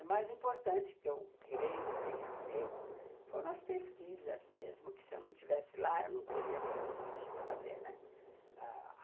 O mais importante, que eu creio que tenha feito, foram as pesquisas mesmo, que se eu não estivesse lá, eu não teria condições de fazer, né.